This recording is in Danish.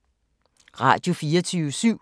Radio24syv